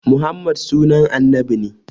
Muhammad sunan annabi ne